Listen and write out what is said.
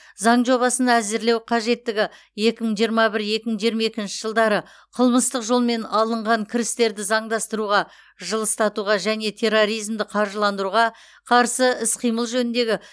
заң жобасын әзірлеу қажеттігі екі мың жиырма бір екі мың жиырма екінші жылдары қылмыстық жолмен алынған кірістерді заңдастыруға жылыстатуға және терроризмді қаржыландыруға қарсы іс қимыл жөніндегі